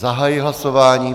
Zahajuji hlasování.